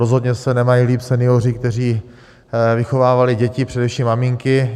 Rozhodně se nemají líp senioři, kteří vychovávali děti, především maminky.